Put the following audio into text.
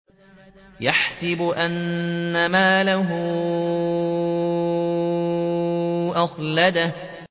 يَحْسَبُ أَنَّ مَالَهُ أَخْلَدَهُ